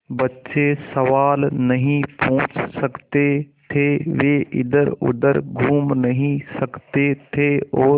बच्चे सवाल नहीं पूछ सकते थे वे इधरउधर घूम नहीं सकते थे और